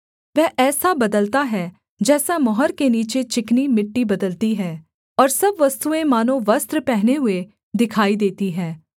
वह ऐसा बदलता है जैसा मोहर के नीचे चिकनी मिट्टी बदलती है और सब वस्तुएँ मानो वस्त्र पहने हुए दिखाई देती हैं